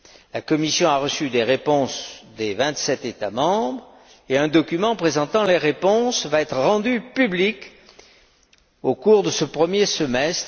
La Commission a reçu des réponses des vingt sept États membres et un document présentant ces réponses va être rendu public au cours de ce premier semestre.